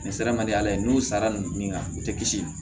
Nin sara man di ala ye n'u sara ninnu ka u tɛ kisi